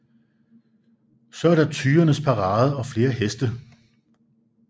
Så er der tyrenes parade og flere heste